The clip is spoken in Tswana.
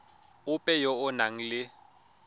ope yo o nang le